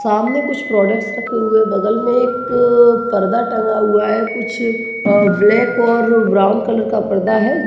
सामने कुछ प्रोडक्ट्स रखे हुए बगल में एक पर्दा टंगा हुआ है कुछ ब्लैक और ब्राउन कलर पर्दा है।